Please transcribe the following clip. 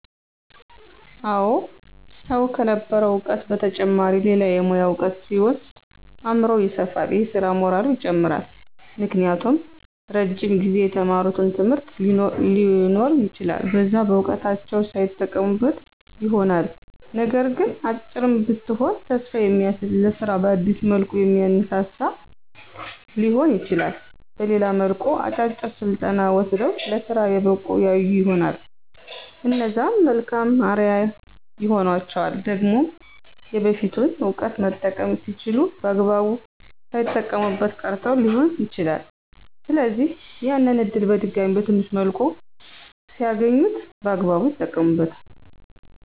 አወ ሰዉ ከነበረዉ እዉቀት በተጨማሪ ሌላ የሙያ እዉቀት ሲወስድ አምሮዉ ይሰፋል የስራ ሞራሉም ይጨምራል። ምክንያቱም እረጅም ጊዜ የተማሩት ትምህርት ሊኖር ይችላል በዛ እዉቀታቸዉ ሳይጠቀሙበት ይሆናልነገር ግን "አጭርም ብትሆን ተስፋ የሚያስዝ ለስራ በአዲስ መልኩ የሚያነሳሳ" ሊሆን ይችላል በሌላም መልኩ "አጫጭር ስልጠና ወስደዉ ለስራ የበቁ ያዩ ይሆናል" እነዛም መልካም አርያ ይሆኗቸዋል። ደግሞም የበፊቱን እዉቀት መጠቀም ሲችሉ በአግባቡ ሳይጠቀሙበት ቀርተዉ ሊሆን ይችላል ስለዚህ፦< ያንን እድል በድጋሜ በትንሽ መልኩ ሲያገኙት> በአግባብ ይጠቀሙበታል።